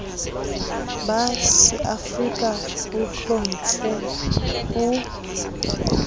ba seafrika bo hlomptjhwe o